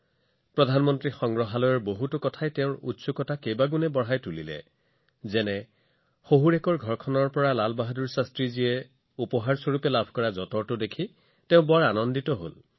তেওঁ প্ৰধানমন্ত্ৰী সংগ্ৰহালয়টোৰ বিষয়ে কিছুমান কথা লিখিছে যিয়ে তেওঁৰ কৌতূহল বৃদ্ধি কৰিছে উদাহৰণ স্বৰূপে তেওঁ লাল বাহাদুৰ শাস্ত্ৰীজীৰ যঁতৰটো দেখি অতি সুখী হৈছিল যিটো তেওঁ শহুৰেকৰ পৰা লাভ কৰিছিল